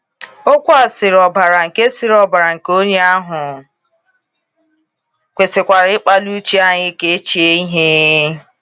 Okwu a sịrị ọbara nke sịrị ọbara nke onye ahụ kwesịkwara ịkpali uche anyị ka o chee ihe?